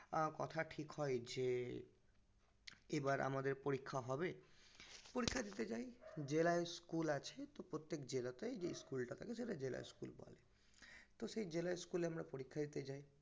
আহ কথা ঠিক হয় যে এবার আমাদের পরিক্ষা হবে পরিক্ষা দিতে যাই জেলায় school আছে তহ প্রত্যেক জেলায় যে school টা থাকে তাকে জেলা school বলে তহ সেই জেলা school এ আমরা পরিক্ষা দিতে যাই